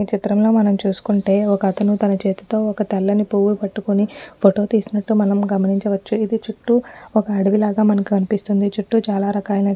ఈచిత్రంలో మనం చూసుకుంటే ఒక్కతను తన చేతులతో ఒక్క తెల్లని పువ్వులు పట్టుకొని ఫోటో తీసినట్టు మనం గమనించవచ్చుఇది చుట్టూ ఒక్క అడవిలాగా మనకి అనిపిస్తుందిచుట్టూ చాలా రకాలైన చెట్లు --